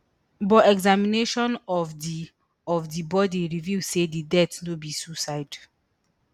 but examination of di of di body reveal say di death no be suicide